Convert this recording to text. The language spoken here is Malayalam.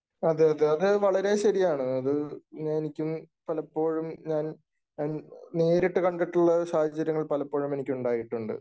അതേയതേ , അത് വളരെ ശരിയാണ്. അത് എനിക്കും പലപ്പോഴും ഞാൻ ഞാൻ നേരിട്ട് കണ്ടിട്ടുള്ള സാഹചര്യങ്ങൾ പലപ്പോഴും എനിക്ക് ഉണ്ടായിട്ടുണ്ട്.